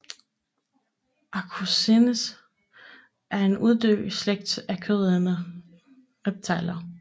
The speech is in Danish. Archosaurus er en uddød slægt af kødædende reptiler